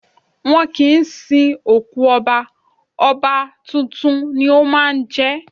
Wọ́n kì ń sin òkú Ọba, Ọba tuntun ni ó máa ń jẹ́.